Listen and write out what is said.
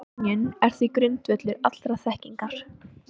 Skynjunin er því grundvöllur allrar þekkingar.